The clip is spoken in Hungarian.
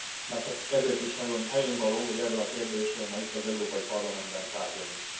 Már csak ezért is nagyon helyénvaló, hogy erről a kérdésről ma itt, az Európai Parlamentben tárgyalunk.